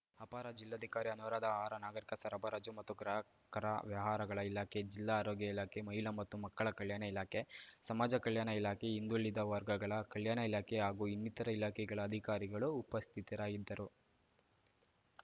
ಅಪಾರ ಜಿಲ್ಲಾಧಿಕಾರಿ ಅನುರಾಧ ಆಹಾರ ನಾಗರಿಕ ಸರಬರಾಜು ಮತ್ತು ಗ್ರಾಹಕರ ವ್ಯವಹಾರಗಳ ಇಲಾಖೆ ಜಿಲ್ಲಾ ಆರೋಗ್ಯ ಇಲಾಖೆ ಮಹಿಳಾ ಮತ್ತು ಮಕ್ಕಳ ಕಲ್ಯಾಣ ಇಲಾಖೆ ಸಮಾಜ ಕಲ್ಯಾಣ ಇಲಾಖೆ ಹಿಂದುಳಿದ ವರ್ಗಗಳ ಕಲ್ಯಾಣ ಇಲಾಖೆ ಹಾಗೂ ಇನ್ನಿತರ ಇಲಾಖೆಗಳ ಅಧಿಕಾರಿಗಳು ಉಪಸ್ಥಿತರಾಗಿದ್ದರು